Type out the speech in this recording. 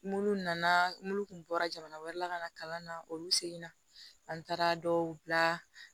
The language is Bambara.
Minnu nana minnu kun bɔra jamana wɛrɛ la ka na kalan na olu segin na an taara dɔw bila